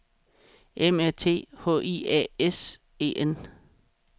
M A T H I A S E N